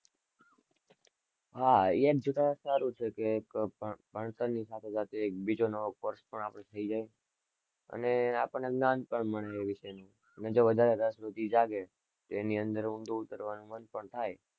હા, એમ જોતા સારું છે કે ભણતરની સાથે-સાથે એક બીજો નવો course પણ આપણે થઇ જાય, અને આપણને જ્ઞાન પણ મળે એ વિષયનું ને જો વધારે રસ પછી જાગે, તો એની અંદર ઊંડું ઉતરવાનું મન પણ થાય.